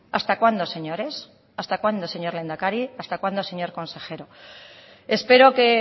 hasta cuándo señores hasta cuándo señor lehendakari hasta cuándo señor consejero espero que